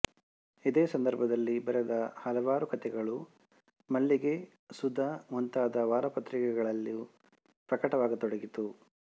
ಇದೇ ಸಂದರ್ಭದಲ್ಲಿ ಬರೆದ ಹಲವಾರು ಕಥೆಗಳು ಮಲ್ಲಿಗೆ ಸುಧಾ ಮುಂತಾದ ವಾರಪತ್ರಿಕೆಗಳಲ್ಲೂ ಪ್ರಕಟವಾಗ ತೊಡಗಿತು